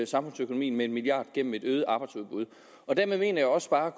samfundsøkonomien med en milliard kroner gennem et øget arbejdsudbud dermed mener jeg også bare at